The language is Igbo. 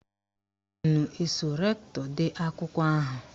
Unu eso rektọ dee akwụkwọ ahụ?